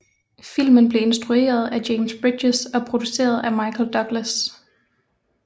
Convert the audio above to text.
Filmen blev instrueret af James Bridges og produceret af Michael Douglas